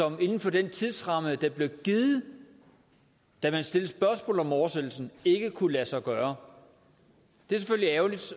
inden for den tidsramme der blev givet da man stillede spørgsmål om oversættelsen ikke kunne lade sig gøre det er selvfølgelig ærgerligt